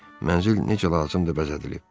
Mənzil necə lazımdır bəzədilib.